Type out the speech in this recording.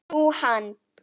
Nú, hann.